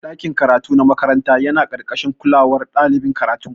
Dakin karatu na makaranta yana karkashin kolawan ɗalibin karatu.